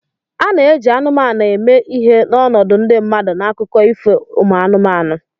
A na-eji anụmanụ eme ihe n'ọnọdụ ndị mmadụ n'akụkọ ifo umu anụmanụ